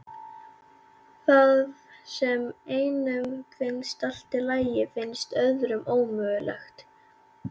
Það sem einum finnst í lagi finnst öðrum ómögulegt.